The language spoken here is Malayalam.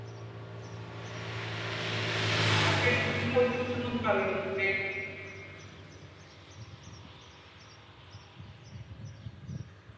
Okay പറയോ ഒന്നുകൂടെ